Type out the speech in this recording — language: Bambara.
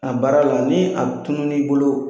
a baara la ni a tunun'i bolo.